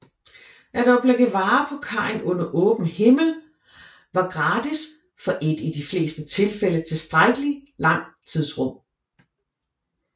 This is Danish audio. At oplægge varer på kajen under åben himmel var gratis for et i de fleste tilfælde tilstrækkelig langt tidsrum